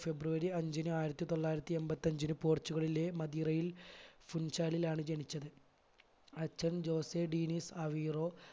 ഫെബ്രുവരി അഞ്ചിന് ആയിരത്തി തൊള്ളായിരത്തി എൺപത്തഞ്ചിന് പൊർച്ചുഗലിലെ മദീറയിൽ ഫുൻചാലിലാണ് ജനിച്ചത് അച്ഛൻ ജോസ് എ ഡിനിസ് അവിറോ